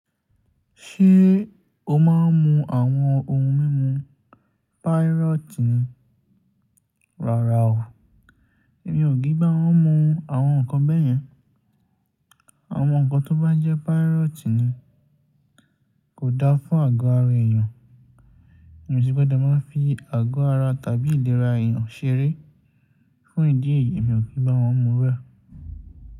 Ṣé o máa ń mu àwọn ohun mímu pírọ́tì ní? Rárá o, èmi ò kí ń bá wọn mu àwọn nǹkan bẹ́ẹ̀ yẹn. Àwọn nǹkan tó bá jẹ́ pírọ́tì ní kò dáa fún àgọ́ ara èèyàn. Ẹni tí kò bá máa ń fi àgọ́ ara tàbí ìlera èèyàn ṣeré fún ìdí èyí mi ò kí bá wọn mu iru ẹ̀.